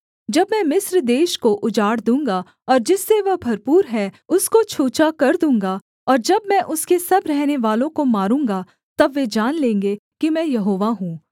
जब मैं मिस्र देश को उजाड़ दूँगा और जिससे वह भरपूर है उसको छूछा कर दूँगा और जब मैं उसके सब रहनेवालों को मारूँगा तब वे जान लेंगे कि मैं यहोवा हूँ